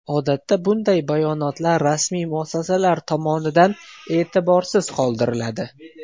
Odatda bunday bayonotlar rasmiy muassasalar tomonidan e’tiborsiz qoldiriladi.